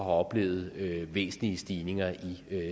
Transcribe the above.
oplevet væsentlige stigninger i